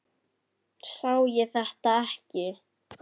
Sá ég þetta ekki?